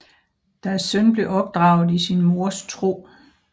Deres søn blev opdraget i sin mors tro